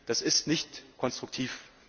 Das ist nicht konstruktiv!